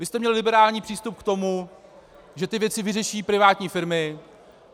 Vy jste měl liberální přístup k tomu, že ty věci vyřeší privátní firmy.